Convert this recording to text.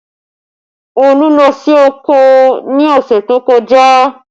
Olú lọ sí oko ní ọ̀sẹ̀ tó kọjá